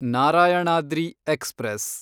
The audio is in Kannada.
ನಾರಾಯಣಾದ್ರಿ ಎಕ್ಸ್‌ಪ್ರೆಸ್